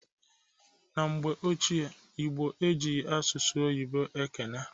Na mgbe ochie ndị Igbo ejighi asụsụ oyibo ekene.